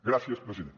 gràcies president